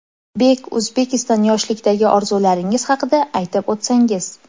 Bek Uzbekistan Yoshlikdagi orzularingiz haqida aytib o‘tsangiz.